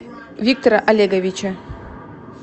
виктора олеговича